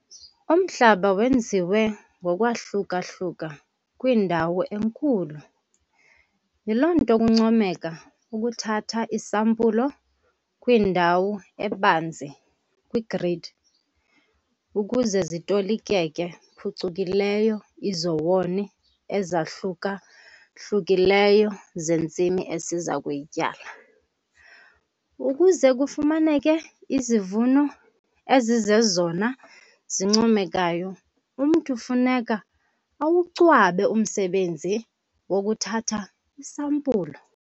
Umhlaba wenziwe ngokwahluka-hluka kwindawo enkulu, yiloo nto kuncomeka ukuthatha iisampulo kwindawo ebanzi, kwigridi, ukuze zitolikeke phucukileyo iizowuni ezahluka-hlukileyo zentsimi esiza kuyityala. Ukuze kufumaneke izivuno ezizezona zincomekayo umntu funeka awucwabe umsebenzi wokuthatha iisampulo.